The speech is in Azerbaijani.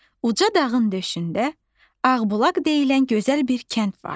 Uca dağın döşündə Ağbulaq deyilən gözəl bir kənd vardı.